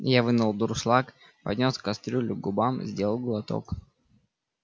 я вынул дуршлаг поднёс кастрюлю к губам сделал глоток